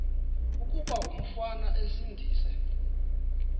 kuba umfana esindise